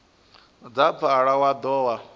dza pfala wa dovha wa